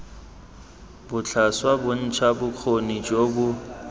botlhaswa bontsha bokgoni jo bo